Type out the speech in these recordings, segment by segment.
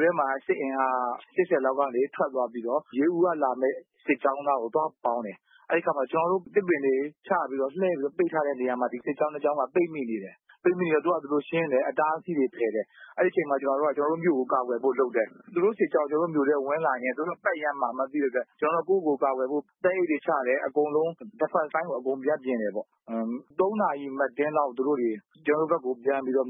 ထဲမှာ စစ်အင်အား ၈၀ လောက်ကနေထွက်သွားပြီးတော့ ရေဦးက လာမယ့် စစ်ကြောင်းနားကို သွားပေါင်းတယ်။ အဲဒီအခါမှာ ကျနော်တို့ သစ်ပင်တွေ ချပြီးတော့ လှဲပြီးတော့ ပိတ်ထားတဲ့နေရာမှာ ဒီစစ်ကြောင်း ၂ ကြောင်းက ပိတ်မိနေတယ်။ အဲဒီတော့ သူတို့ဟာသူတို့ ရှင်းတယ် အတားအဆီးတွေ ဖယ်တယ်။ အဲဒီအချိန်မှာ ကျနော်တို့က ကျနော်တို့ မြို့ကို ကာကွယ်ဖို့ လုပ်တယ်။ သူတို့ စစ်ကြောင်းကျနော်တို့မြို့ထဲ ဝင်လာရင် သူတို့က ပတ်ရမ်းမှာ သိတဲ့အတွက် ကျနော်တို့က ကိုယ့်ဟာကိုယ် ကာကွယ်ဖို့ သဲအိတ်တွေချတယ် ၊ အကုန်လုံး defense ဘက်ကို ပြင်တယ်ပေါ့။ ၃ နာရီ မတ်တင်းလောက် သူတို့ ကျနော်တို့ မြို့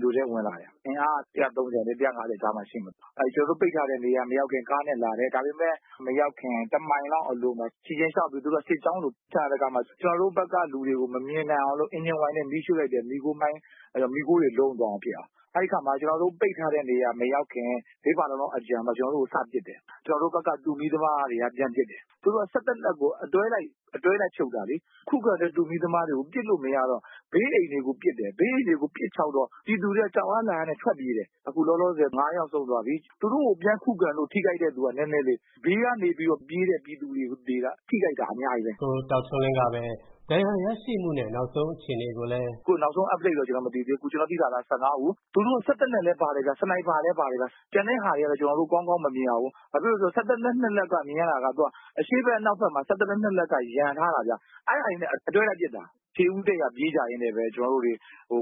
ကို ဝင်လာတယ်။ အင်အားက ၁၃၀-၁၅၀ ကြားမှာ ရှိမယ် ။ ကျနော်တို့ ပိတ်ထားတဲ့ နေရာမရောက်ခင် ကားနဲ့လာတယ် ဒါပေမယ့် မရောက်ခင် ၁ မိုင်လောက်အလိုမှာ သူတို့က ခြေချင်လျှောက်ပြီး စစ်ကြောင်းကို ကျနော်တို့ဘက်ကလူတွေ မမြင်နိုင်အောင်လို့ အင်ဂျင်ဝိုင်နဲ့ မီးရှို့လိုက်တယ် မီးခိုးတွေ လုံးသွားတာဖြစ်အောင် ။ အဲဒီအခါမှာ ကျနော်တို့ ပိတ်ထားတဲ့နေရာ မရောက်ခင် ၄ ဖာလုံလောက်အလိုမှာ စပစ်တယ်။ ကျနော်တို့ဘက်က တူမီးသမားတွေက ပြန်ပစ်တယ်။ သို့သော် စက် သေနတ်ကို အတွဲလိုက် ဖြုတ်တာလေ။ ခုခံတဲ့ တူမီးသမားတွေကို ပစ်လို့မရတော့ ဘေးအိမ်တွေကို ပစ်တယ်။ ဘေးအိမ်တွေကို ပစ်ခြောက်တော့ ပြည်သူတွေက ကြောက်အားလန့်အားနဲ့ ထွက်ပြေးတယ် ၊ အခုလောလောဆည် ၅ ယောက်ဆုံးသွားပြီ။ သူတို့ကို ပြန်ခုခံလို့ ထိခိုက်တဲ့လူတွေက နည်းနည်းလေး ဘေးကနေပြီးတော့ ပြေးတဲ့ ပြည်သူတွေက ထိခိုက်တာ အများကြီးပဲ။” “အခု နောက်ဆုံး Update ကတာ့ ကျနော်တို့ မသိသေးဘူး။ အခု ကျနော်တို့သိတာကတော့ ၁၅ ဦး ။ သူတို့က စက်သေနတ်လည်းပါတယ်၊ စနိုက်ပါလည်းပါတယ် ကျန်တာကတော့ ကျနော်တို့ ကောင်းကောင်းမမြင်ရဘူး ဘာဖြစ်လို့လဲဆိုတော့ စက်သေနတ် ၂ လက်က ကျနော်တို့ မြင်ရတာက အရှေ့ဘက်နဲ့ အနောက်ဘက်က စက်သေနတ်က ရံထားတာဗျ အဲဒါတွေနဲ့ အတွဲလိုက်ပစ်တာ။ ခြေဦးတည့်ရာ ပြေးကြရင်းနဲ့ပဲ ကျနော်တို့တွေ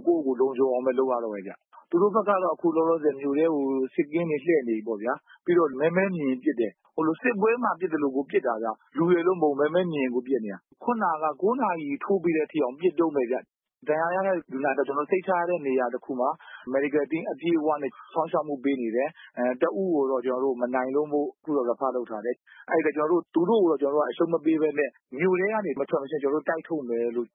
ကိုယ့်ကိုယ်လုံခြုံအောင်လုပ်ရတော့တယ်ဗျ ။ သူတို့ဘက်ကတော့ အခုလောလောဆည် မြို့ထဲကို စစ်ကင်းတွေ လှည့်နေပြီပေါ့နော်။ ပြီးတော့ မဲမဲမြင်ရင် ပစ်တယ်၊ စစ်ပွဲမှာ ပစ်သလို ပစ်တာဗျ။ လူလို့မဟုတ်ဘူး မဲမဲမြင်ရင် ပစ်နေတာ။ ၉ နာရီ ထိုးပြီးတဲ့အထိကို ပစ်တုန်းပဲခင်ဗျ ဒဏ်ရာရတဲ့လူနာတွေကိုတော့ ကျနော်တို့ စိတ်ချရတဲ့ နေရာတခုမှာ Medical Team အပြည့်အဝနဲ့ စောင့်ရှောက်မှု ပေးနေတယ်။ တဦးကိုတော့ ကျနော်တို့ မနိုင်လို့ refer လုပ်ထားရတယ်။ သူတို့ကို ကျနော်တို့ အရှုံးမပေးပဲနဲ့ မြို့ထဲကနေ မထွက်မချင်း ကျနေ်ာတို့ တိုက်ထုတ်မယ်လို့